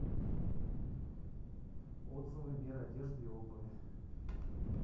отзывы мир одежды и обуви